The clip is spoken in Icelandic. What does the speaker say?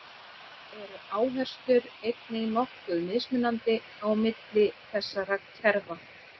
Þá eru áherslur einnig nokkuð mismunandi á milli þessara kerfa.